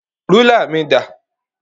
Rúlà mi dà?